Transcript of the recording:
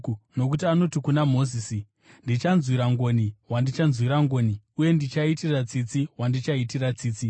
Nokuti anoti kuna Mozisi: “Ndichanzwira ngoni wandichanzwira ngoni, uye ndichaitira tsitsi wandichaitira tsitsi.”